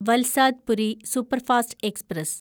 Valsad Puri superfast express